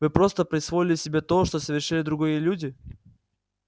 вы просто присвоили себе то что совершили другие люди